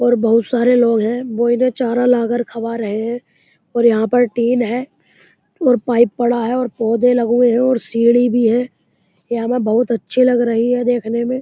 और बहोत सारे लोग है। वो इन्हे चरा ला कर खवा रहे है और यहाँ पर टिन है और पाइप पड़ा है और पौधे लग वे हैं और सीढ़ी भी है। यह हमें बहोत अच्छे लग रही है देखने में।